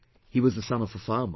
He was the son of a farmer